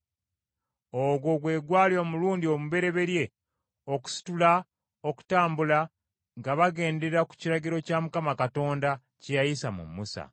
Ogwo gwe gwali omulundi omubereberye okusitula okutambula nga bagendera ku kiragiro kya Mukama Katonda kye yayisa mu Musa.